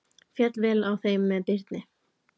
Féll vel á með þeim Birni.